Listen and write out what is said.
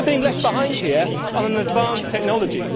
So we are being left behind here on an advanced technology.